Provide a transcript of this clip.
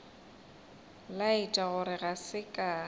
laetša gore ga se ka